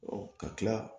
ka tila